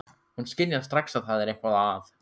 Hún skynjar strax að það er eitthvað að.